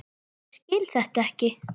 Ég skil þetta ekki!